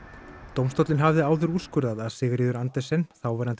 dómstóllinn hafði áður úrskurðað að Sigríður Andersen þáverandi